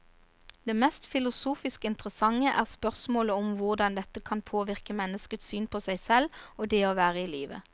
Det mest filosofisk interessante er spørsmålet om hvordan dette kan påvirke menneskets syn på seg selv og det å være i livet.